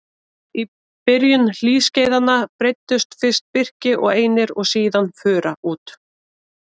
Í byrjun hlýskeiðanna breiddust fyrst birki og einir og síðan fura út.